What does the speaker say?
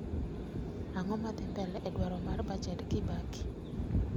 Ang'o madhi mbele e dwaro mar bajed Kibaki